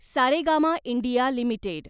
Saregama India limited